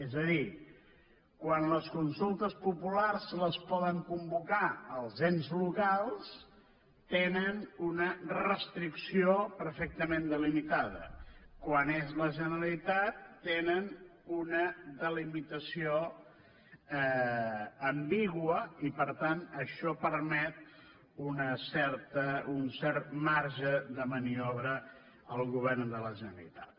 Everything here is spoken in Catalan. és a dir quan les consultes populars les poden convocar els ens locals tenen una restricció perfectament delimitada quan és la generalitat tenen una delimitació ambigua i per tant això permet un cert marge de maniobra al govern de la generalitat